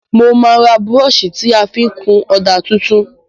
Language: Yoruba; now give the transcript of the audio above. Mo má ra brush ti a fi n kun òdà tuntun